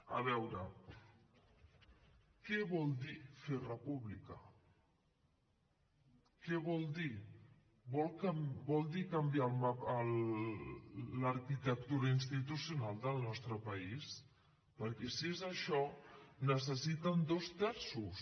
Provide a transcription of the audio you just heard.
a veure què vol dir fer república què vol dir vol dir canviar l’arquitectura institucional del nostre país perquè si és això necessiten dos terços